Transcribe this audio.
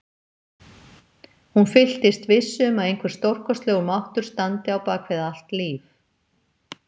Hún fyllist vissu um að einhver stórkostlegur máttur standi á bak við allt líf.